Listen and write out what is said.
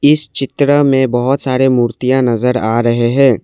इस चित्र में बहुत सारे मूर्तियां नजर आ रहे हैं।